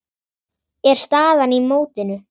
er staðan í mótinu.